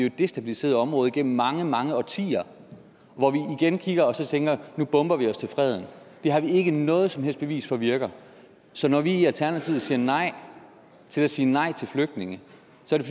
et destabiliseret område gennem mange mange årtier hvor vi igen kigger og så tænker nu bomber vi os til freden det har vi ikke noget som helst bevis for virker så når vi i alternativet siger nej til at sige nej til flygtninge